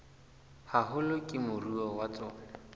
haholo ke moruo wa tsona